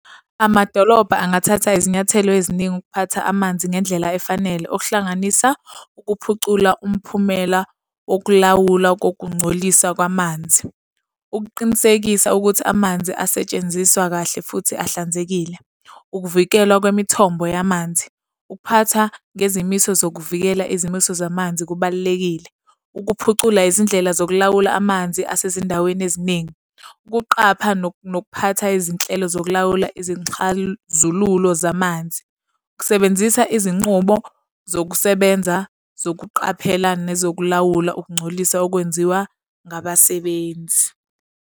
Amadolobha angathatha izinyathelo eziningi ukuphatha amanzi ngendlela efanele, okuhlanganisa ukuphucula umphumela wokulawula kokungcolisa kwamanzi. Ukuqinisekisa ukuthi amanzi asetshenziswa kahle futhi ahlanzekile. Ukuvikelwa kwemithombo yamanzi. Ukuphatha ngezimiso zokuvikela izimiso zamanzi kubalulekile ukuphucula izindlela zokulawula amanzi asezindaweni eziningi. Ukuqapha nokuphatha izinhlelo zokulawula izinxhazululo zamanzi. Kusebenzisa izinqubo zokusebenza zokuqaphela nezokulawula ukungcoliswa okwenziwa ngabasebenzi.